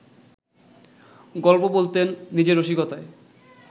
গল্প বলতেন, নিজের রসিকতায়